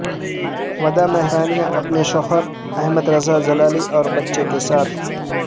ودا مہرانیا اپنے شوہر احمد رضا جلالی اور بچے کے ساتھ